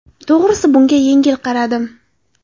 To‘g‘risi bunga yengil qaradim.